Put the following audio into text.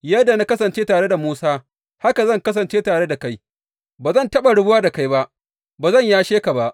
Yadda na kasance tare da Musa, haka zan kasance tare da kai; ba zan taɓa rabuwa da kai ba; ba zan yashe ka ba.